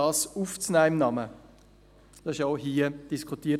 Dies wurde auch hier diskutiert.